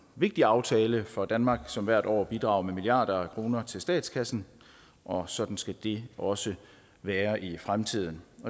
vigtig aftale for danmark som hvert år bidrager med milliarder af kroner til statskassen og sådan skal det også være i fremtiden